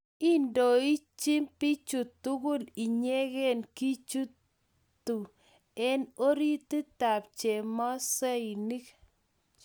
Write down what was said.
Indoichi bichu tugul inyekei Kijitu eng orotitab chemosinik